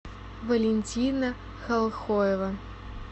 валентина халхоева